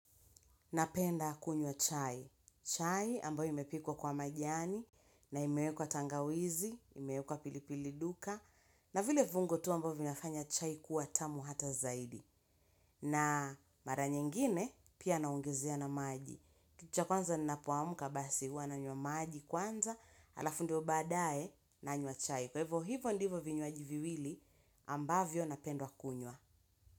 Napenda kunywa chai. Chai ambayo imepikwa kwa majani na imewekwa tangawizi, imewekwa pilipili duka na vile viungo tu ambavyo vinafanya chai kuwa tamu hata zaidi. Na mara nyingine pia naongezea na maji. Kitu cha kwanza ninapoamka basi hua nanywa maji kwanza, alafu ndio badae nanywa chai kwa hivyo hivyo ndivyo vinywaji viwili ambavyo napenda kunywa.